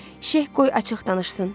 Şeyx qoy açıq danışsın.